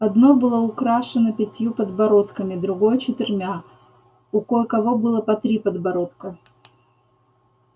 одно было украшено пятью подбородками другое четырьмя у кое-кого было по три подбородка